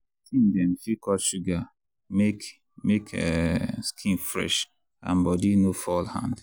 teen dem fit cut sugar make make um skin fresh and body no fall hand.